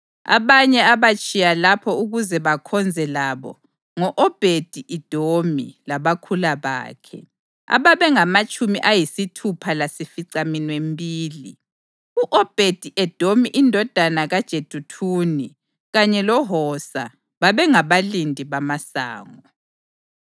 Abanye abatshiya lapho ukuze bakhonze labo ngo-Obhedi-Edomi labakhula bakhe, ababengamatshumi ayisithupha lasificaminwembili. U-Obhedi-Edomi indodana kaJeduthuni, kanye loHosa babengabalindi bamasango.